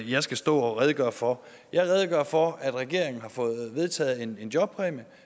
jeg skal stå og redegøre for jeg redegør for at regeringen har fået vedtaget en en jobpræmie